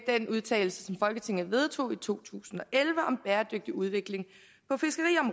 vedtagelse som folketinget vedtog i to tusind og elleve om bæredygtig udvikling